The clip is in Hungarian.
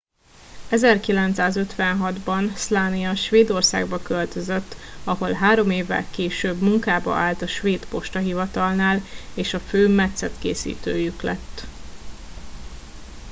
1956 ban slania svédországba költözött ahol három évvel később munkába állt a svéd postahivatalnál és a fő metszetkészítőjük lett